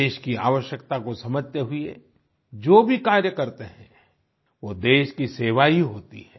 देश की आवश्यकता को समझते हुए जो भी कार्य करते हैं वो देश की सेवा ही होती है